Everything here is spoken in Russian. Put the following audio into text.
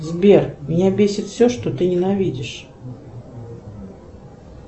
сбер меня бесит все что ты ненавидишь